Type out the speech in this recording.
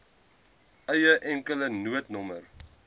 eie enkele noodnommer